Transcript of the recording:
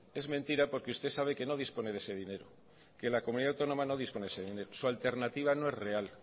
es mentira porque usted sabe que no dispone de ese dinero que la comunidad autónoma no dispone de ese dinero su alternativa no es real